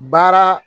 Baara